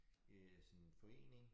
Øh sådan forening